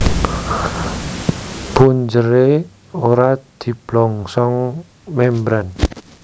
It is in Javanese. Punjeré ora diblongsong membran